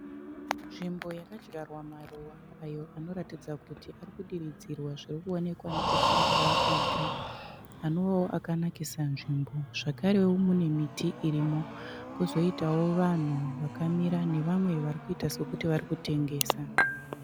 Nzvimbo yakadyarwa maruva ayo anoratidza kuti arikudiridzirwa. Zvirikuonekwa nekukura kwaarikuita. Anove akanakisa nzvimbo, zvakarewo mune miti irimo. Kozoitawo vanhu vakamira nevamwe varikuita sevari kutengesa.